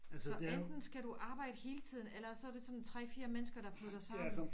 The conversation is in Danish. Så enten skal du arbejde hele tiden eller også er det sådan 3 4 mennesker der flytter sammen